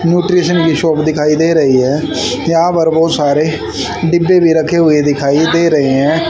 Nutrition की shop दिखाई दे रही है यहां पर बहोत सारे डिब्बे भी रखे हुए दिखाई दे रहे है।